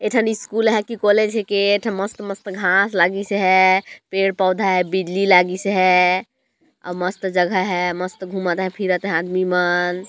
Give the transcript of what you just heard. यहाँ स्कूल या कॉलेज है के मस्त मस्त घाँस लागिस हैं पेड़ पौधा लागिस हैं बिजली लागिस हैं मस्त जगह लागिस हैं मस्त घूमत हैं फिरत है आदमी मन--